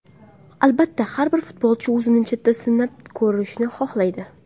Albatta, har bir futbolchi o‘zini chetda sinab ko‘rishni xohlaydi.